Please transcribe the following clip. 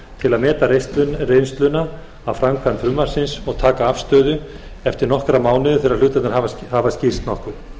til að meta reynsluna af framkvæmd frumvarpsins og taka afstöðu eftir nokkra mánuði þegar hlutirnir hafa skýrst nokkuð